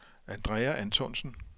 Andrea Antonsen